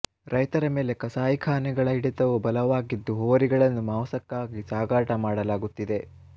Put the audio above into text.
ರೈತರ ಮೇಲೆ ಕಸಾಯಿ ಖಾನೆಗಳ ಹಿಡಿತವೂ ಬಲವಾಗಿದ್ದು ಹೋರಿಗಳನ್ನು ಮಾಂಸಕ್ಕಾಗಿ ಸಾಗಾಟ ಮಾಡಲಾಗುತ್ತಿದೆ